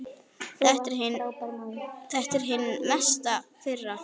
Þetta er hin mesta firra.